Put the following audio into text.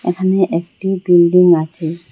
এখানে একটি বিল্ডিং আছে।